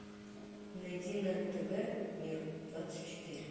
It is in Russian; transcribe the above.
найди на тв мир двадцать четыре